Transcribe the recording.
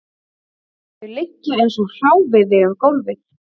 Þau liggja eins og hráviði um gólfið